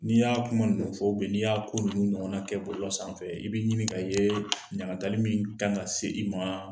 N'i y'a kuma ninnu fɔ n'i y'a ko nunnu ɲɔgɔnna kɛ bɔlɔlɔ sanfɛ i be ɲini ka yee. Ɲagatali min ka ŋa se i maa